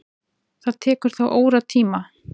Það tekur þá óratíma.